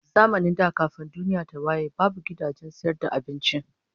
Zamanin da kafin duniya ta waye babu gidajen sayar da abinci